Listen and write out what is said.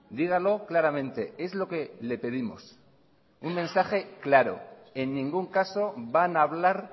dígalo claramente es lo que le pedimos un mensaje claro en ningún caso van a hablar